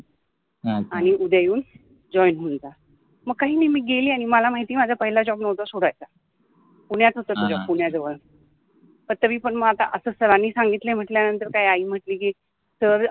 ह ह, आणी उद्या येऊन जॉईन होऊन जा मग काहि नाहि मि गेलि आणी मला माहिति आहे माझा पहिला जॉब नवता सोडायचा पुन्यात होत ते जॉब पुन्याजवळ तरिपन मंग आता अस सरानि सागितल आहे मटल्यानंतर काय आई मटलि कि सर